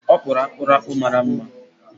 Ọ kpụrụ akpụrụ akpụ mara mma.